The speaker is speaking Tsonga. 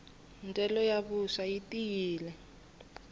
ndyelo ya vuswa yi tiyile